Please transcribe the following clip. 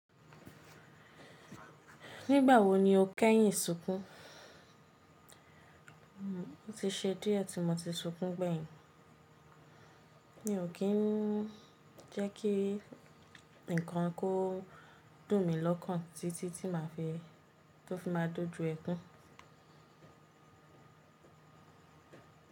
Nígbà wo ni o kẹ́yìn sunkún? Ti ṣe díẹ̀ tí mo ti sunkún gbẹ́yìn, mi ò kí n jẹ́ kí ǹkan kó dùn mi lọ́kàn títí tí màá fi tó fi má a dojú ẹkún.